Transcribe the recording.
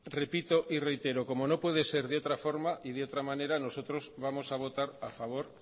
repito y reitero como no puede ser de otra forma y de otra manera nosotros vamos a votar a favor